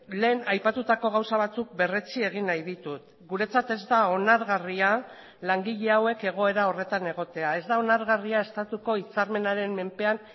lehen aipatutako gauza batzuk berretsi egin nahi ditut guretzat ez da onargarria langile hauek egoera horretan egotea ez da onargarria estatuko hitzarmenaren menpean